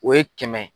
O ye kɛmɛ